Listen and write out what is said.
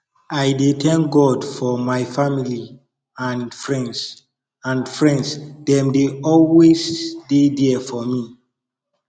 i dey thank god for my family and friends and friends dem dey always dey there for me